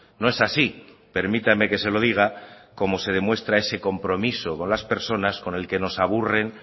no es así permítame que se lo diga como se demuestra ese compromiso con las personas con el que nos aburren